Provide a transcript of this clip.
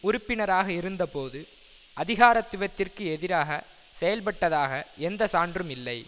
உறுப்பினராக இருந்தபோது அதிகாரத்துவத்திற்கு எதிராக செயல்பட்டதாக எந்த சான்றும் இல்லை